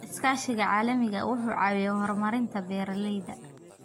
Iskaashiga caalamiga ah wuxuu caawiyaa horumarinta beeralayda.